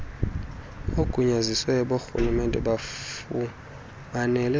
oogunyaziwe borhulumente bafumanele